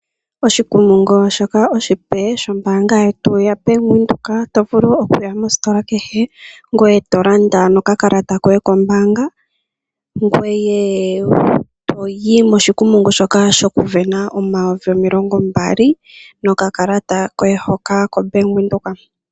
Oshikumungu shoka oshipe shombaanga yetu ya Bank Widhoek, to vulu okuya mositola kehe, ngoye to landa no kakalata koye kombaanga, ngoye toyi moshikumungu shoka shoku sindana omayovi omilongo mbali, no kakalata koye hoka ko Bank Widhoek.